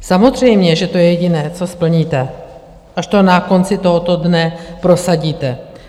Samozřejmě že to je jediné, co splníte, až to na konci tohoto dne prosadíte.